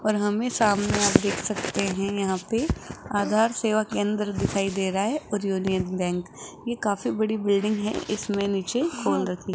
और हमें सामने आप देख सकते हैं यहां पे आधार सेवा केंद्र दिखाई दे रहा है और यूनियन बैंक ये काफी बड़ी बिल्डिंग है इसमें नीचे खोल रखी --